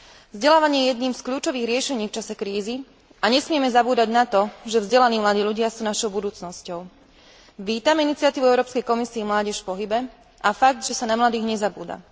Vzdelávanie je jedným z kľúčových riešení v čase krízy a nesmieme zabúdať na to, že vzdelaní mladí ľudia sú našou budúcnosťou. Vítam iniciatívu Európskej komisie Mládež v pohybe a fakt, že sa na mladých nezabúda.